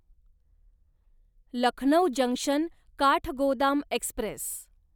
Lucknow junction Kathgodam Express